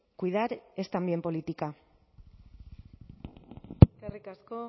cuidar es también política eskerrik asko